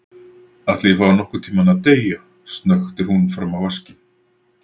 Ætli ég fái nokkurntímann að deyja, snöktir hún fram á vaskinn.